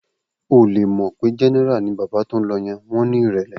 O ò le mọ̀ pé Jẹ́nẹ́rà ni bàbá tó ń lọ yẹn, wọn ní ìrẹ̀lẹ̀.